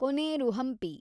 Koneru Hampi